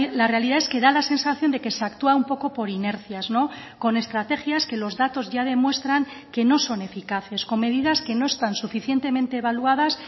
la realidad es que da la sensación de que se actúa un poco por inercias con estrategias que los datos ya demuestran que no son eficaces con medidas que no están suficientemente evaluadas